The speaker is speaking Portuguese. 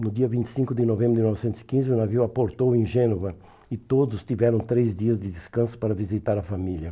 No dia vinte e cinco de novembro de mil novecentos e quinze, o navio aportou em Gênova e todos tiveram três dias de descanso para visitar a família.